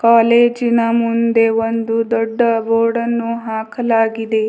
ಕಾಲೇಜಿನ ಮುಂದೆ ಒಂದು ದೊಡ್ಡ ಬೋರ್ಡನ್ನು ಹಾಕಲಾಗಿದೆ.